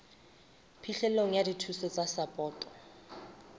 phihlelo ya dithuso tsa sapoto